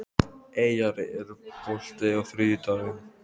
Eyjar, er bolti á þriðjudaginn?